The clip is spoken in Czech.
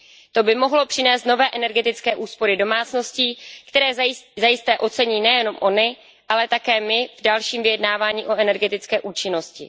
To by mohlo přinést nové energetické úspory domácností, které zajisté ocení nejen ony, ale také my v dalším vyjednávání o energetické účinnosti.